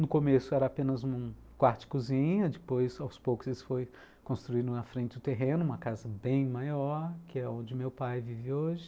No começo era apenas um quarto-cozinha, depois aos poucos eles foram construir na frente do terreno uma casa bem maior, que é onde meu pai vive hoje.